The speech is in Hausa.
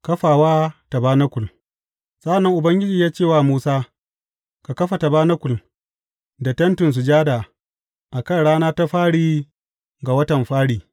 Kafawa tabanakul Sa’an nan Ubangiji ya ce wa Musa, Ka kafa tabanakul, da Tentin Sujada, a kan rana ta fari ga watan fari.